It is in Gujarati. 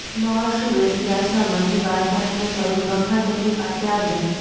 મહર્ષિ વેદવ્યાસના મનની વાત જાણીને સ્વયં બ્રહ્મા તેમની પાસે આવ્યાં